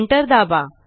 Enter दाबा